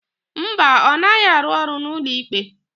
Mba, ọ naghị arụ ọrụ n'ụlọikpe.